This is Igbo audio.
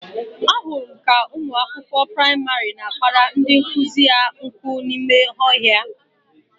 Ahụrụ m ka ụmụ akwụkwọ praịmarị na-akpara ndị nkụzi ha nkụ n'ime ọhịa